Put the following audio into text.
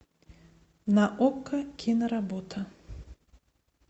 на окко киноработа